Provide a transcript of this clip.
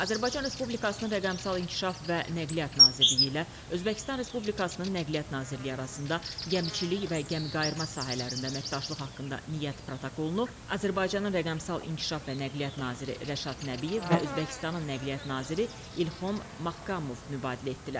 Azərbaycan Respublikasının rəqəmsal inkişaf və nəqliyyat Nazirliyi ilə Özbəkistan Respublikasının Nəqliyyat Nazirliyi arasında gəmiçilik və gəmiqayırma sahələrində əməkdaşlıq haqqında niyyət protokolunu Azərbaycanın rəqəmsal inkişaf və nəqliyyat naziri Rəşad Nəbiyev və Özbəkistanın Nəqliyyat naziri İlhom Maxkamov mübadilə etdilər.